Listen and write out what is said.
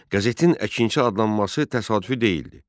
Qəzetin Əkinçi adlanması təsadüfi deyildi.